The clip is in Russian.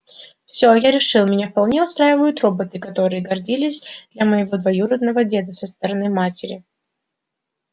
всё я решил меня вполне устраивают роботы которые годились для моего двоюродного деда со стороны матери